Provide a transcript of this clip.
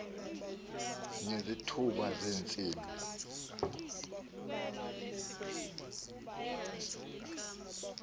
ngezithuba ze ntsimbi